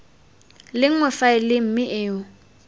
le nngwe faele mme o